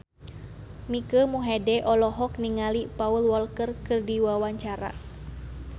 Mike Mohede olohok ningali Paul Walker keur diwawancara